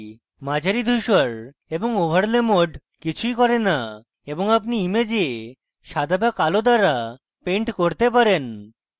মাঝারি ধূসর এবং overlay mode কিছুই করে না এবং আপনি image সাদা বা কালো দ্বারা paint করতে পারেন